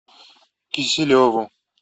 киселеву